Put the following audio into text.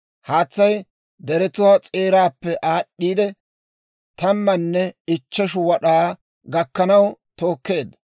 Haatsay deretuwaa s'eeraappe aad'd'iide, tammanne ichcheshu wad'aa gakkanaw tookeedda.